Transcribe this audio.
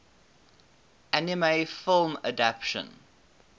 anime film adaptation